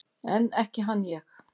En ekki hann ég!